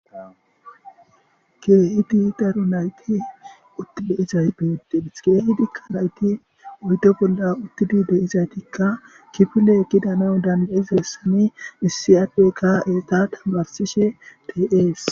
Keehid daro nayti uti de'izays betes, .keehidika nayti oyde bolla utidi de'izaytika kifile gidanawu danda'izaysan issi adeyka etta tamarisishe de'es